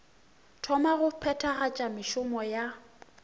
thoma go phethagatša mešomo ya